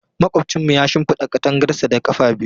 Makwabcinmu ya shimfida katangarsa da ƙafa biyu.